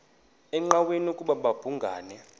engqanweni ukuba babhungani